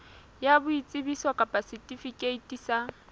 ya boitsebiso kapa setifikeiti sa